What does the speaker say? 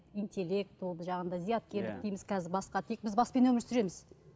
интеллект болды жаңағындай зияткерлік дейміз біз басқа біз баспен өмір сүреміз